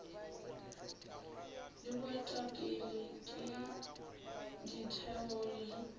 le boetapele ke ditheo le